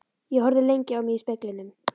Ég horfði lengi á mig í speglinum.